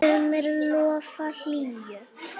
sumri lofar hlýju.